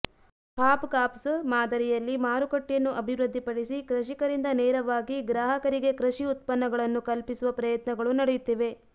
ಹಾಪ್ಕಾಪ್ಸ್ ಮಾದರಿಯಲ್ಲಿ ಮಾರುಕಟ್ಟೆಯನ್ನು ಅಭಿವೃದ್ದಿಪಡಿಸಿ ಕೃಷಿಕರಿಂದ ನೇರವಾಗಿ ಗ್ರಾಹಕರಿಗೆ ಕೃಷಿ ಉತ್ಪನ್ನಗಳನ್ನು ಕಲ್ಪಿಸುವ ಪ್ರಯತ್ನಗಳು ನಡೆಯುತ್ತಿವೆ